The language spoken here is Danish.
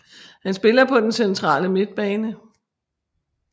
Han spiller på den centrale midtbane